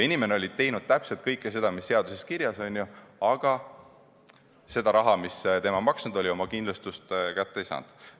Inimene oli teinud täpselt kõike seda, mis seaduses kirjas, aga seda raha, mida ta maksnud oli – oma kindlustust – ta kätte ei saanud.